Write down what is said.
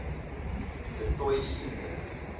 du toit senior